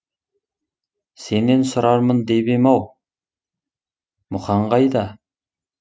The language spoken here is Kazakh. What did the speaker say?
сенен сұрармын деп ем ау мұқан қайда